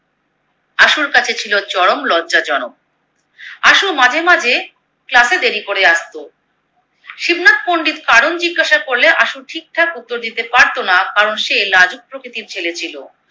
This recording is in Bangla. আশুর কাছে ছিলো চরম লজ্জাজনক। আশু মাঝে মাঝে Class এ দেরি করে আসতো। শিবনাথ পন্ডিত কারণ জিজ্ঞাসা করলে আশু ঠিকঠাক উত্তর দিতে পারতোনা কারণ সে লাজুক প্রকৃতির ছেলে ছিলো।